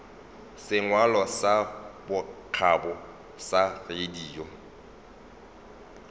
sengwalo sa bokgabo sa radio